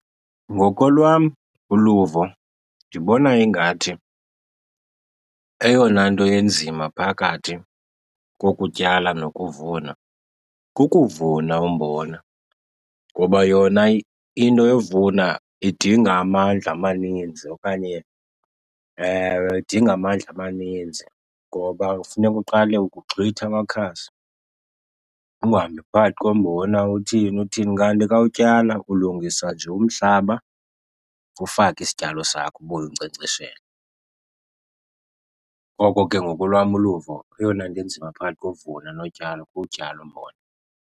Ngokolwam uluvo, ndibona ingathi eyona nto enzima phakathi kokutyala nokuvuna kukuvuna umbona. Ngoba yona into yovuna idinga amandla amaninzi okanye, ewe, idinga amandla amaninzi ngoba kufuneka uqale uke uxhwithe amakhasi, uhambe phakathi kombona, uthini uthini. Kanti xa utyala ulungisa nje umhlaba, ufake isityalo sakho ubuye unkcenkceshele. Ngoko ke ngokolwam uluvo eyona nto inzima phakathi kovuna notyala kuwutyala umbona.